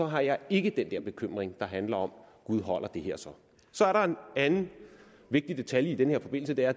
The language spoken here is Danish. har jeg ikke den der bekymring der handler om gud holder det her så så er der en anden vigtig detalje i den her forbindelse det er